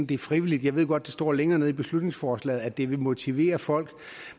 det er frivilligt jeg ved godt det står længere nede i beslutningsforslaget at det vil motivere folk